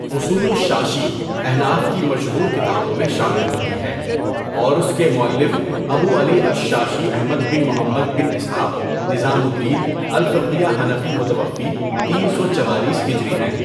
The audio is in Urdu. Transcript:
اصول الشاشی احناف کی مشہور کتابوں میں شامل ہوتى ہے اور اس كے مؤلف ابو على الشاشى احمد بن محمد بن اسحاق نظام الدين الفقیہ حنفی متوفی تین سو چوالیس ہجری ہیں.